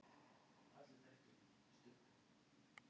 Tjara inniheldur tugi efnasambanda sem talin eru krabbameinsvaldandi.